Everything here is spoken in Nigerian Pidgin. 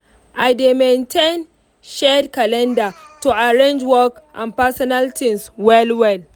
i dey maintain shared calendar to arrange work and personal things well well.